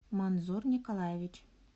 манзур николаевич